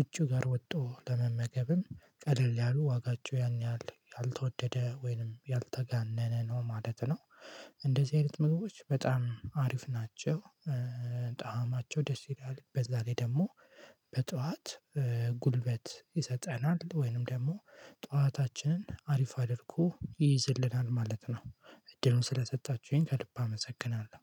ውጪ ጋር ወጥቶ ለመመገብም ቀለል ያሉ ዋጋቸው ያን ያህል ያልተወደደ ወይንም ያልተጋነነ ነው ማለት ነው። እንደዚህ አይነት ምግቦች በጣም አሪፍ ናቸው። ጣዕማቸው ደስ ይላል በዛ ላይ ደግሞ። በጧት ጉልበት ይሰጠናል ወይንም ደግሞ ጧታችንን አሪፍ አድርጎ ይይዝልናል ማለት ነው። እድሉን ስለሰጣችሁኝ ከልብ አመሰግናለሁ